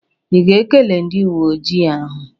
Ị ga-ekele ndị uwe ojii ahụ?